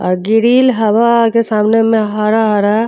अ grill हवे के सामने में हरा-हरा --